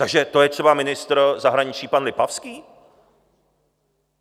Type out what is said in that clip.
Takže to je třeba ministr zahraničí pan Lipavský?